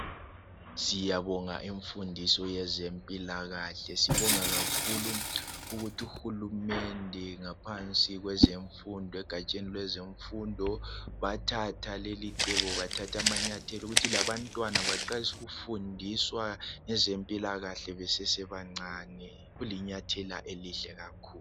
Siyabonga imfundiso yezempilakahle sibonga kakhulu ukuthi uhulumende ngaphansi kwezemfundo egatsheni lwezemfundo bathatha lelicebo bathatha amanyathela ukuthi labantwana baqalise ukufundiswa ngezempilakahle besesebancane kulinyathela elihle kakhulu.